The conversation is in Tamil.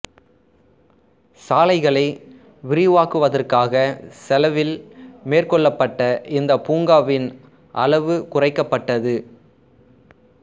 சாலைகளை விரிவாக்குவதற்காக செலவில் மேற்கொள்ளப்பட்ட இந்த பூங்காவின் அளவு குறைக்கப்பட்டது